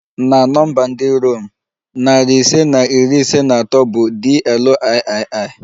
Na nọmba ndị Rom, narị ise na iri ise na atọ bụ DLIII